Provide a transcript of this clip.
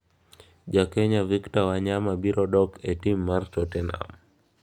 Ja Kenya Victor Wanyama biro duok e tim mar Tottenham